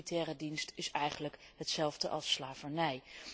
Militaire dienst is eigenlijk hetzelfde als slavernij.